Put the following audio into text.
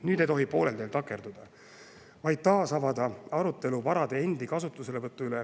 Nüüd ei tohi poolel teel takerduda, vaid taasavada arutelu vara enda kasutuselevõtu üle.